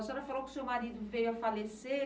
A senhora falou que o seu marido veio a falecer.